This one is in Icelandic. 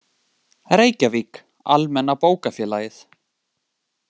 Reykjavík: Almenna Bókafélagið.